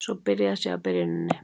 Svo byrjað sé á byrjuninni